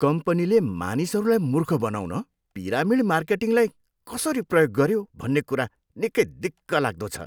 कम्पनीले मानिसहरूलाई मूर्ख बनाउन पिरामिड मार्केटिङलाई कसरी प्रयोग गऱ्यो भन्ने कुरा निकै दिक्कलाग्दो छ।